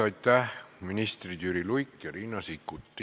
Aitäh, ministrid Jüri Luik ja Riina Sikkut!